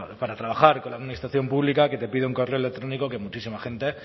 para trabajar con la administración pública que te pide un correo electrónico que muchísima gente